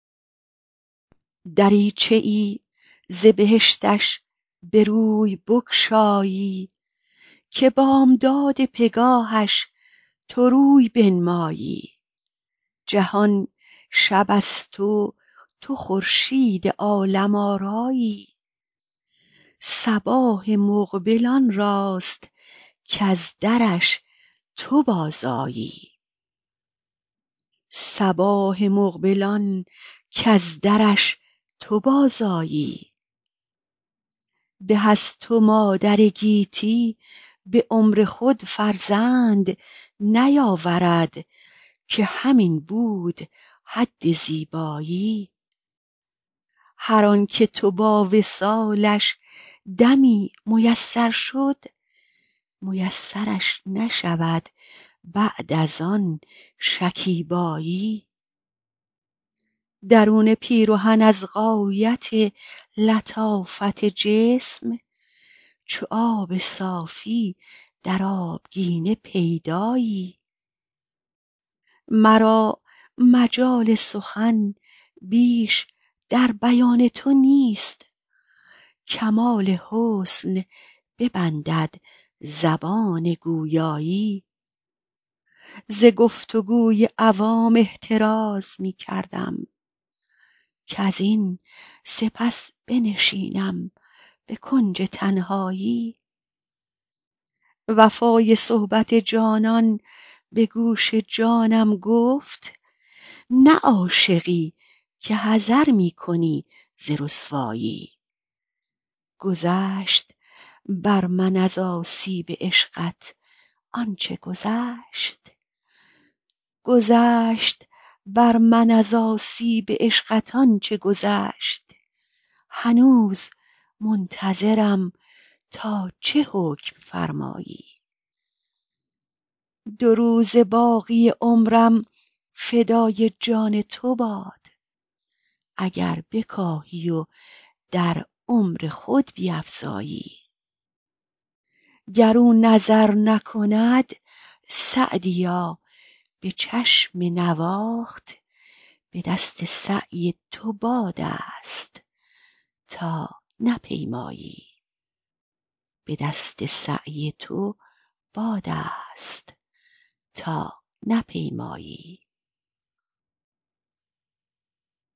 دریچه ای ز بهشتش به روی بگشایی که بامداد پگاهش تو روی بنمایی جهان شب است و تو خورشید عالم آرایی صباح مقبل آن کز درش تو بازآیی به از تو مادر گیتی به عمر خود فرزند نیاورد که همین بود حد زیبایی هر آن که با تو وصالش دمی میسر شد میسرش نشود بعد از آن شکیبایی درون پیرهن از غایت لطافت جسم چو آب صافی در آبگینه پیدایی مرا مجال سخن بیش در بیان تو نیست کمال حسن ببندد زبان گویایی ز گفت و گوی عوام احتراز می کردم کزین سپس بنشینم به کنج تنهایی وفای صحبت جانان به گوش جانم گفت نه عاشقی که حذر می کنی ز رسوایی گذشت بر من از آسیب عشقت آن چه گذشت هنوز منتظرم تا چه حکم فرمایی دو روزه باقی عمرم فدای جان تو باد اگر بکاهی و در عمر خود بیفزایی گر او نظر نکند سعدیا به چشم نواخت به دست سعی تو باد است تا نپیمایی